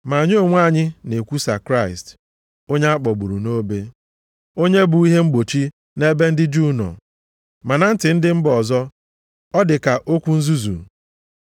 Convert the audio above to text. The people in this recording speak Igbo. Ma anyị onwe anyị na-ekwusa Kraịst, onye a kpọgburu nʼobe, onye bụ ihe mgbochi nʼebe ndị Juu nọ, ma na ntị ndị mba ọzọ, ọ dị ka okwu nzuzu.